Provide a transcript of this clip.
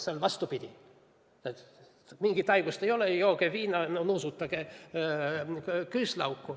Seal oli vastupidi, öeldi, et mingit haigust ei ole, jooge viina ja nuusutage küüslauku.